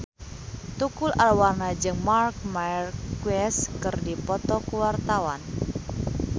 Tukul Arwana jeung Marc Marquez keur dipoto ku wartawan